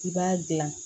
I b'a dilan